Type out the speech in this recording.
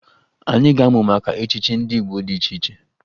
Anyị ga-amụ maka echichi ndị Igbo dị iche iche